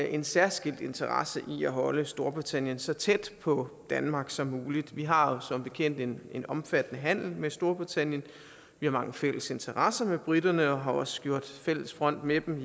en særskilt interesse i at holde storbritannien så tæt på danmark som muligt vi har jo som bekendt en omfattende handel med storbritannien vi har mange fælles interesser med briterne og har også gjort fælles front med dem